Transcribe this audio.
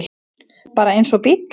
Bara eins og bíll.